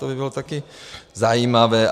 To by bylo také zajímavé.